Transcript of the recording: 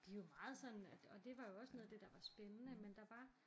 De er jo meget sådan og og det var jo også noget af det der var spændende men der var